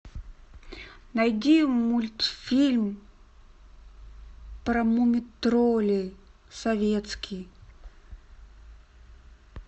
найди мультфильм про муми троллей советский